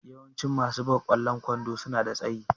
Yawancin masu buga ƙwallon kwando suna da tsayi.